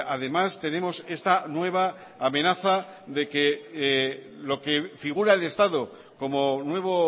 además tenemos esta nueva amenaza de que lo que figura el estado como nuevo